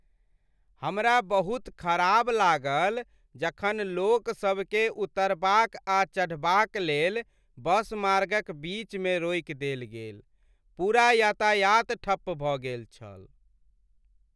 हमरा बहुत खराब लागल जखन लोकसभकेँ उतरबाक आ चढ़बाक लेल बस मार्गक बीचमे रोकि देल गेल। पूरा यातायात ठप्प भऽ गेल छल।